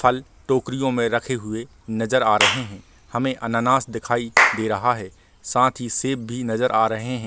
फल टोकरियों मे रखें हुए नजर आ रहें हैं हमे अन्नानाश दिखाई दे रहा है साथ ही सेब भी नजर आ रहें हैं।